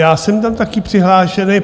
Já jsem tam taky přihlášený.